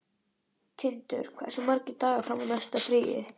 Tindur, hversu margir dagar fram að næsta fríi?